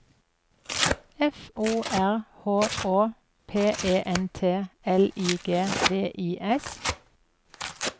F O R H Å P E N T L I G V I S